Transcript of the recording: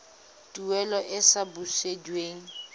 tuelo e e sa busediweng